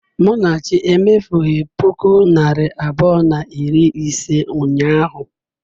Munachi emefughị ​​puku naịra abụọ na iri ise ụnyahụ.